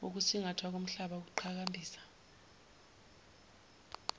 ukusingathwa komhlaba ukuqhakambisa